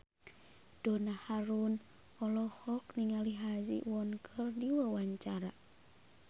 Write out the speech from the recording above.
Donna Harun olohok ningali Ha Ji Won keur diwawancara